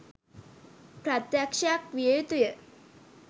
ප්‍රත්‍යක්‍ෂකයක් විය යුතු ය.